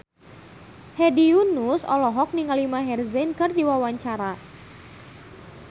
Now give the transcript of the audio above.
Hedi Yunus olohok ningali Maher Zein keur diwawancara